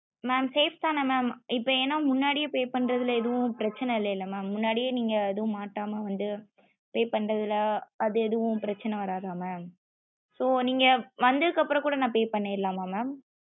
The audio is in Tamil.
mam safe தான mam இப்போ என முன்னாடியே pay பண்றதுல ஏதும் பிரச்சன இல்லைல mam முன்னாடியே நீங்க ஏதும் மாடமா வந்து pay பண்றதுல அது எது பிரச்சன வராத mam so நீங்க வந்தது கப்பரம் குட நா pay பண்ணிரலாம mam